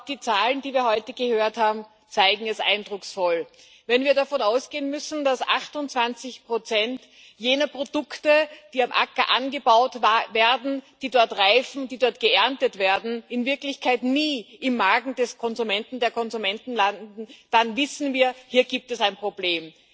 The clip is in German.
Die Zahlen, die wir heute gehört haben, zeigen es eindrucksvoll Wenn wir davon ausgehen müssen, dass 28 jener Produkte, die auf dem Acker angebaut werden, die dort reifen, die dort geerntet werden, in Wirklichkeit nie im Magen der Konsumenten landen, dann wissen wir Hier gibt es ein Problem.